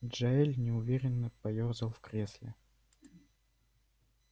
джаэль неуверенно поёрзал в кресле